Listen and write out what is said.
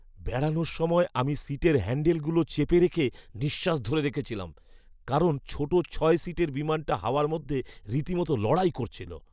বেড়ানোর সময় আমি সিটের হ্যান্ডলগুলো চেপে রেখে নিঃশ্বাস ধরে রেখেছিলাম কারণ ছোট ছয় সিটের বিমানটা হাওয়ার মধ্যে রীতিমত লড়াই করছিল!